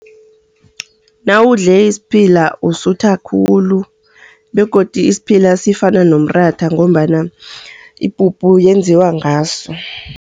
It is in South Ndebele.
Nawudle isiphila usutha khulu, begodu isiphila sifana nomratha ngombana ipuphu yenziwa ngaso.